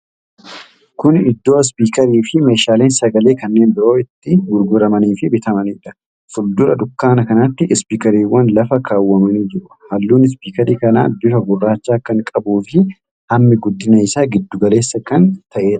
Kuni Iddoo Ispiikarii fi meeshaaleen sagalee kanneen biroo itti gurguramanii fi bitamanidha. Fuuldura dukkaana kanaatti Ispiikariiwwan lafa kaawwamanii jiru. Halluun Ispiikarii kanaa bifa gurraacha kan qabuufi hammi guddina isaa giddu galeessa kan ta'edha.